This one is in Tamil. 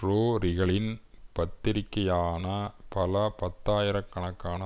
ரோரிகளின் பத்திரிகையான பல பத்தாயிர கணக்கான